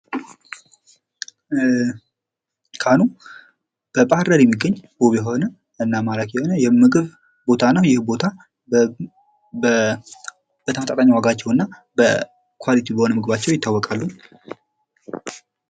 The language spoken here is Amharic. ካህኑ በባህር ዳር የሚገኝ ውብ የሆነ እና ማራኪ የሆነ የምግብ ቦታ ነው ።ይህም ቦታ በተመጣጣኝ ዋጋቸውና ኮሊቲ በሆነ መግባቸው ይታወቃሉ።